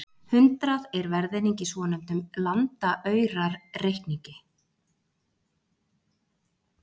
hundrað er verðeining í svonefndum landaurareikningi